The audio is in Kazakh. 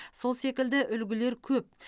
сол секілді үлгілер көп